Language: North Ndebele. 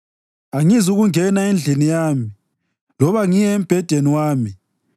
“Angizukungena endlini yami loba ngiye embhedeni wami,